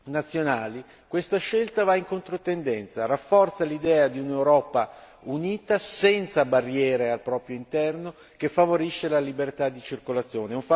nazionali questa scelta va in controtendenza, rafforza l'idea di un'Europa unita, senza barriere al proprio interno, che favorisce la libertà di circolazione.